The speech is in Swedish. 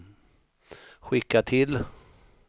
skicka till